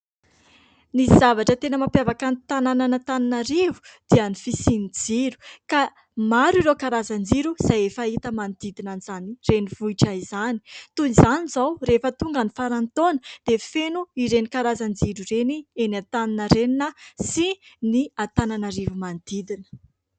Ny zavatra tena mampiavaka ny tanànan'Antananarivo dia ny fisian'ny jiro ka maro ireo karazan-jiro izay efa hita manodidina izany renivohitra izany. Toy izany izao rehefa tonga ny faran'ny taona dia feno ireny karazan-jiro ireny eny Antaninarenina sy ny Antananarivo manodidina.